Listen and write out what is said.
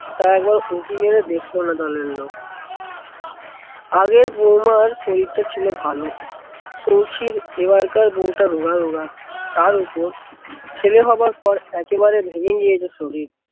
তা একবার উঁকি মেরে দেখলোনা দলের লোক। আগের বৌমার শরীরটা ছিল ভালো। সৌখীর এবারকার বৌটা রোগা রোগা, তার উপর ছেলে হবার পর একেবারে ভেঙে গিয়েছে শরীর।